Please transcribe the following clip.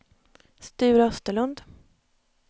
Sture Österlund